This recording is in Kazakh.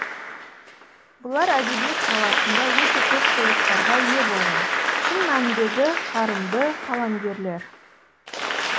бұлар әдебиет саласында өте көп сыйлықтарға ие болған шын мәніндегі қарымды қаламгерлер